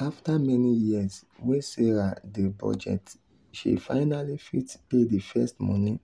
after many years wey sarah dey budget she finally fit pay the first money